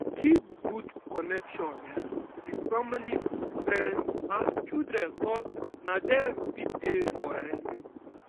keep good connection um with family friends and children cause na dem fit dey for um you